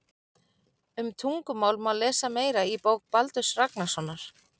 Um tungumál má lesa meira í bók Baldurs Ragnarssonar.